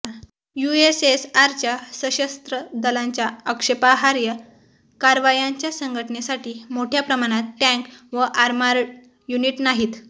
यूएसएसआरच्या सशस्त्र दलांच्या आक्षेपार्ह कारवायांच्या संघटनेसाठी मोठ्या प्रमाणात टँक व आर्मर्ड युनिट नाहीत